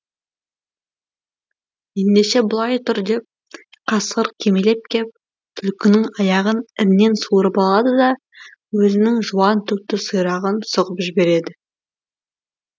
ендеше былай тұр деп қасқыр кимелеп кеп түлкінің аяғын іннен суырып алады да өзінің жуан түкті сирағын сұғып жібереді